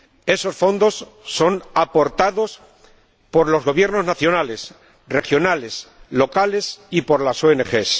Esos fondos son aportados por los gobiernos nacionales, regionales, locales y por las ONG.